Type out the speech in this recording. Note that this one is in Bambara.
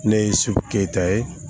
Ne ye su keyita ye